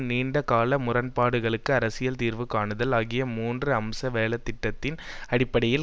நீண்ட கால முரண்பாடுகளுக்கு அரசியல் தீர்வு காணுதல் ஆகிய மூன்று அம்ச வேலை திட்டத்தின் அடிப்படையில்